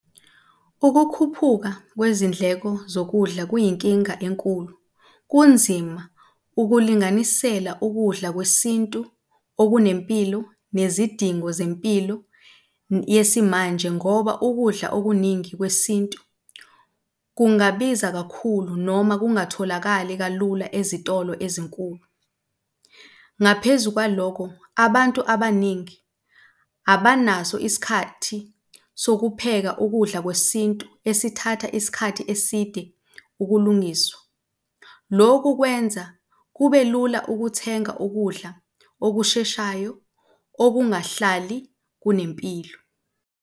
Ukukhuphuka kwezindleko zokudla kuyinkinga enkulu. Kunzima ukulinganisela ukudla kwesintu okunempilo nezidingo zempilo yesimanje ngoba ukudla okuningi kwesintu kungabiza kakhulu, noma kungatholakali kalula ezitolo ezinkulu. Ngaphezu kwalokho, abantu abaningi abanaso isikhathi sokupheka ukudla kwesintu esithatha isikhathi eside ukulungiswa. Loku kwenza kube lula ukuthenga ukudla okusheshayo okungahlali kunempilo.